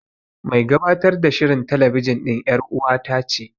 Mai gabatar da shirin telebijin ɗin ƴar'uwata ce.